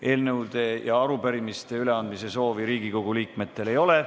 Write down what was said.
Eelnõude ja arupärimiste üleandmise soovi Riigikogu liikmetel ei ole.